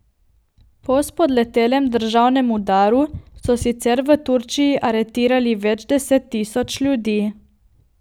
Po spodletelem državnem udaru so sicer v Turčiji aretirali več deset tisoč ljudi.